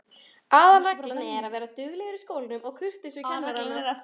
Aðalreglan er að vera duglegur í skólanum og kurteis við kennarana.